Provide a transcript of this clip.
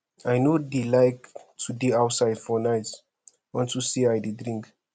i no dey like to dey outside for night unto say i dey drink